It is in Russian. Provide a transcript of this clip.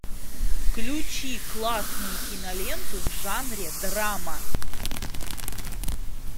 включи классную киноленту в жанре драма